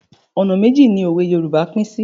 Ọ̀nà méjì ni òwe Yorùbá pín sí.